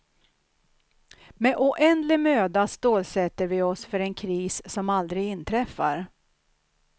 Med oändlig möda stålsätter vi oss för en kris som aldrig inträffar.